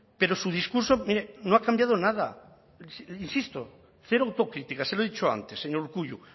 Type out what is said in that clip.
pero su discurso mire no ha cambiado nada insisto cero autocrítica se lo he dicho antes señor urkullu